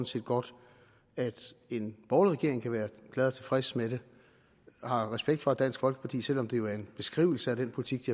set godt at en borgerlig regering kan være glad og tilfreds med det og har respekt for at dansk folkeparti selv om det jo er en beskrivelse af den politik